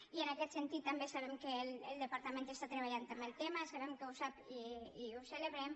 i en aquest sentit també sabem que el departament està treballant també el tema sabem que ho sap i ho celebrem